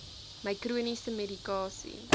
my chroniese medikasie